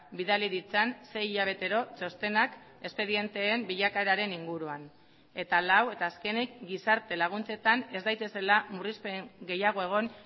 bidali ditzan sei hilabetero txostenak espedienteen bilakaeraren inguruan eta lau eta azkenik gizarte laguntzetan ez daitezela murrizpen gehiago egon